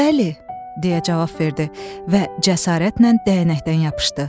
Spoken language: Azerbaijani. Bəli, deyə cavab verdi və cəsarətlə dəyənəkdən yapışdı.